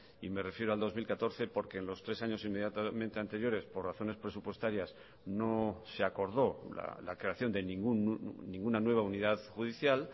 y me refiero al dos mil catorce porque en los tres años inmediatamente anteriores por razones presupuestarias no se acordó la creación de ninguna nueva unidad judicial